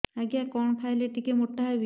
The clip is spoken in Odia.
ଆଜ୍ଞା କଣ୍ ଖାଇଲେ ଟିକିଏ ମୋଟା ହେବି